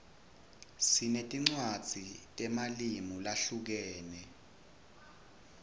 sinetinwadzi temalimu zahlukeme